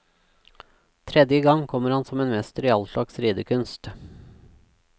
Tredje gang kommer han som en mester i all slags ridekunst.